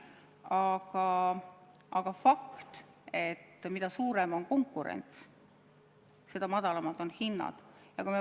Aga on fakt, et mida suurem konkurents, seda madalamad on hinnad.